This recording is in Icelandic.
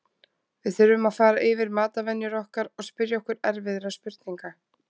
Við þurfum fara yfir matarvenjur okkar og spyrja okkur erfiðra spurninga.